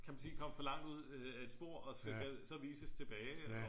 Kan man sige komme for langt ud af et spor og så vises tilbage